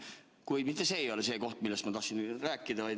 Kuid mitte see ei ole see, millest ma tahtsin rääkida.